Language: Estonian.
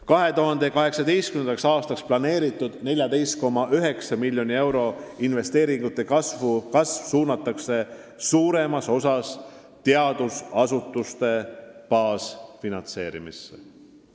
2018. aastaks plaanitud 14,9 miljoni euro suurune investeeringute kasv suunatakse põhiliselt teadusasutuste baasfinantseerimisse.